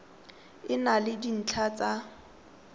e na le dintlha tsa